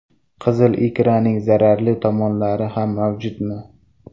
Qizil ikraning zararli tomonlari ham mavjudmi?